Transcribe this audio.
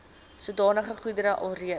sodanige goedere alreeds